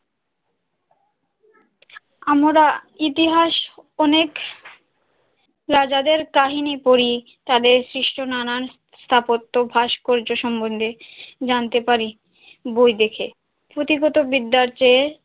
আমরা ইতিহাস অনেক রাজাদের কাহিনী পড়ি, তাদের শ্রেষ্ঠ নানা স্থাপত্য ভাস্কর্য সম্বন্ধে জানতে পারি বই দেখে, পুঁথিগত বিদ্যার চেয়ে,